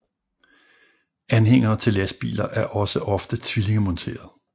Anhængere til lastbiler er også ofte tvillingemonteret